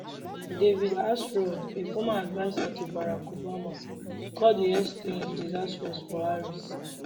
david axelrod a former adviser to barack obama call di exchange diisastrous for harris